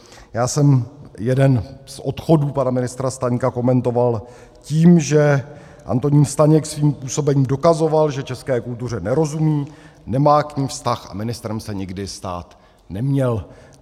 Já jsem jeden z odchodů pana ministra Staňka komentoval tím, že Antonín Staněk svým působením dokazoval, že české kultuře nerozumí, nemá k ní vztah a ministrem se nikdy stát neměl.